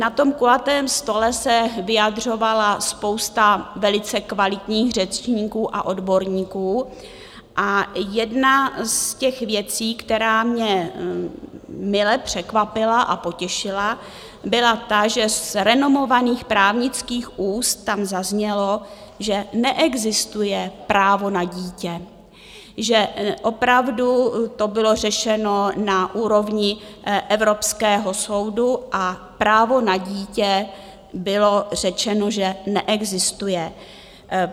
Na tom kulatém stole se vyjadřovala spousta velice kvalitních řečníků a odborníků a jedna z těch věcí, která mě mile překvapila a potěšila, byla ta, že z renomovaných právnických úst tam zaznělo, že neexistuje právo na dítě, že opravdu to bylo řešeno na úrovni Evropského soudu a právo na dítě, bylo řečeno, že neexistuje.